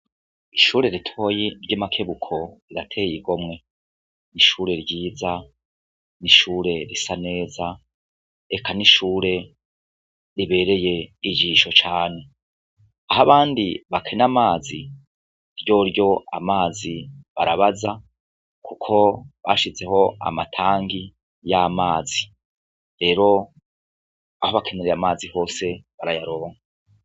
Ishure ritoyi ry'I Makebuko rirateye igomwe, ishure ryiza ni ishure risa neza, eka ni ishure ribereye ijisho cane, aho abandi bakena amazi , ryoryo amazi barabaza kuko bashizeho amatanki y'amazi rero aho bakenereye amazi hose barayaronka.